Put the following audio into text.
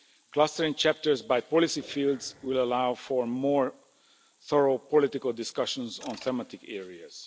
Clustering chapters by policy fields will allow for more thorough political discussions on thematic areas.